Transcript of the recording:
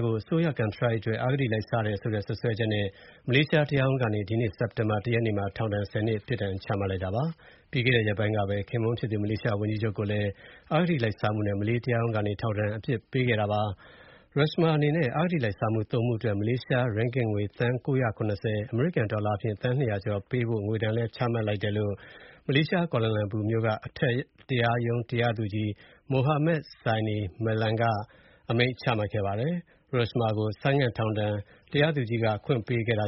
ကို အစိုးရ ကန်ထရိုက်အတွက် အဂတိလိုက်စားတယ်ဆိုတဲ့ စွဲချက်နဲ့ မလေးရှား တရားရုံးကနေ ဒီကနေ့ စက်တင်ဘာ ၁ ရက်နေ့မှာ ထောင်ဒဏ် ၁၀ နှစ် ပြစ်ဒဏ်ချမှတ်လိုက်ပါတယ်။ ပြီးခဲ့တဲ့ရက်ပိုင်းကပဲ ခင်ပွန်းဖြစ်သူ မလေးရှားဝန်ကြီးချုပ်ကိုလည်း အဂတိလိုက် စားမှုနဲ့ ထောင်ဒဏ်ပြစ်ဒဏ် စတင်ကျခံဖို့ မလေးတရားရုံးက အမိန့်ချမှတ်ခဲ့ပါတယ်။ Rosmah အနေနဲ့ အဂတိလိုက်စားမှု ၃ မှုအတွက် မလေးရှားရင်းဂစ်ငွေ သန်း ၉၇၀ (အမေရိကန်ဒေါ်လာ သန်း ၂၀၀ ကျော်) ပေးဖို့ ငွေဒဏ်လည်း မှတ်လိုက်တယ်လို့ မလေးရှား ကွာလမ်လာပူမြို့က အထက်တရားရုံး တရားသူကြီး Mohamed Zaini Mazlan က အမိန့်ချမှတ်ခဲ့ပါတယ်။ Rosmah ကို ဆိုင်းငံ့ထောင်ဒဏ် တရားသူကြီးက ခွင့်ပေးခဲ့တ